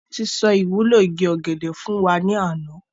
Wọn tí sọ ìwúlò igi ọ̀gẹ̀dẹ̀ fún wa ní àná.